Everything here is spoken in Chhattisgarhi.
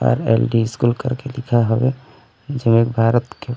आर.एल.डी स्कूल करके लिखाये हवे जेमे भारत के--